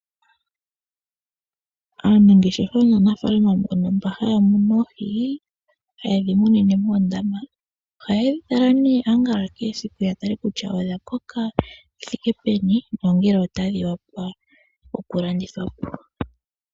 Aanangeshefa naanafaalama mbono haya munu oohi, ha ye dhi munine moondama oha ye dhi tala kehe esiku ya tale kutya odha koka shithike peni nongele otadhi opala okulandithwa po.